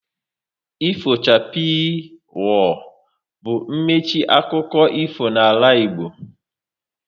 Ifo chapii, woo! bụ mmechi akụkọ ifo n'ala Igbo